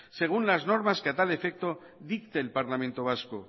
según las normas que a tal efecto dicte el parlamento vasco